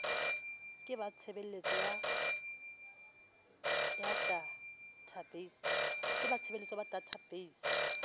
ke ba tshebeletso ya databeise